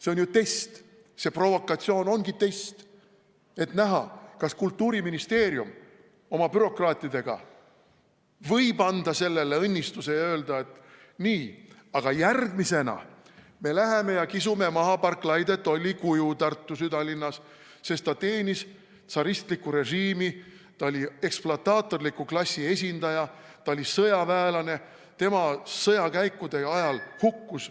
See on test, see provokatsioon ongi test, et näha, kas Kultuuriministeerium oma bürokraatidega võib anda sellele õnnistuse ja öelda, et nii, aga järgmisena me läheme ja kisume maha Barclay de Tolly kuju Tartu südalinnas, sest ta teenis tsaristlikku režiimi, ta oli ekspluataatorliku klassi esindaja, ta oli sõjaväelane, tema sõjakäikude ajal hukkus ...